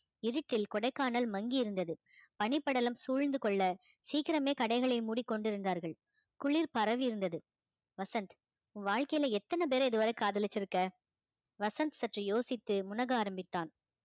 இருட்டில் கொடைக்கானல் மங்கியிருந்தது பனிபடலம் சூழ்ந்து கொள்ள சீக்கிரமே கடைகளை மூடி கொண்டிருந்தார்கள் குளிர் பரவியிருந்தது வசந்த் வாழ்க்கையில எத்தன பேரை இதுவரை காதலிச்சிருக்க வசந்த் சற்று யோசித்து முனக ஆரம்பித்தான்